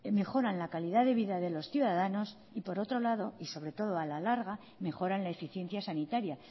mejoran la calidad de vida de los ciudadanos y por otro lado y sobre todo a la larga mejoran la eficiencia sanitaria